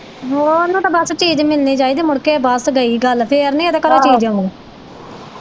ਹੋਰ ਉਹਨੂੰ ਤੇ ਬੱਸ ਚੀਜ਼ ਮਿਲਣੀ ਚਾਹੀਦੀ ਮੁੜਕੇ ਬਸ ਗਈ ਗੱਲ ਤੇ ਫਿਰ ਨਹੀਂ ਇਹਦੇ ਘਰੋਂ ਚੀਜ਼ ਆਉਣੀ।